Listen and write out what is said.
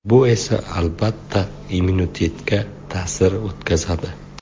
Bu esa, albatta, immunitetga ta’sir o‘tkazadi.